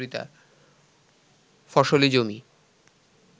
ফসলি জমি